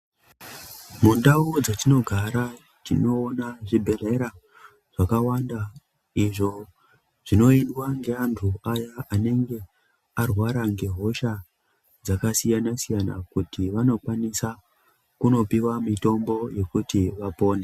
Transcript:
Mundau dzetinogara, tinoona zvibhedhlera zvakawanda izvo zvinoitwa ngeanhu aya anenge arwara ngehosha dzakasiyana-siyana ,kuti vanokwanisa kunopiwa mitombo yekuti vapone.